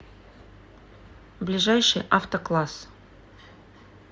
ближайший авто класс